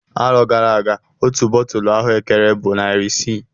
Arọ gara aga otu bọtulụ ahuekere bụ narị isii